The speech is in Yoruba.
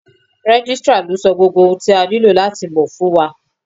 Registrar ló sọ gbogbo ohun tí a nílò láti mọ̀ fún wa.